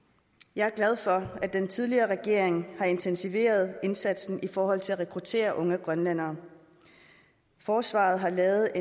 jeg er glad for at den tidligere regering har intensiveret indsatsen i forhold til at rekruttere unge grønlændere forsvaret har lavet